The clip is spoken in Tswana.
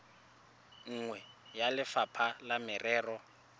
nngwe ya lefapha la merero